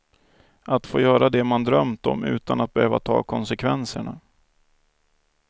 Att få göra det man drömt om utan att behöva ta konsekvenserna.